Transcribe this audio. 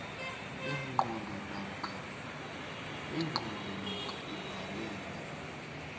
ingqondo namkha uvalelwa